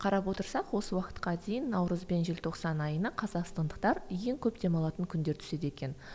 қарап отырсақ осы уақытқа дейін наурыз бен желтоқсан айына қазақстандықтар ең көп демалатын күндер түседі екен